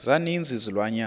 za ninzi izilwanyana